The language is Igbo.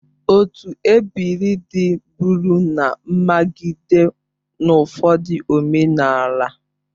Otu ebiri dị bụrụ na mmagide n'ụfọdụ omenala.